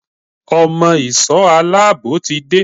Ọmọ ìsò aláàbò ti dé.